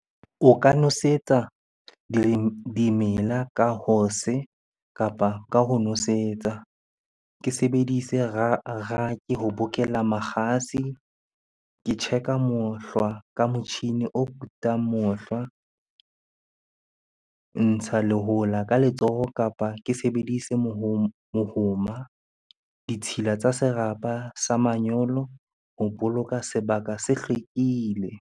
O ka nosetsa dimela ka kapa ka ho nosetsa. Ke sebedise ho bokella makgasi. Ke check-a mohlwa ka motjhini o kutang mohlwa. Ntsha lehola ka letsoho kapa ke sebedise mohoma. Ditshila tsa serapa sa manyolo ho boloka sebaka se hlwekile.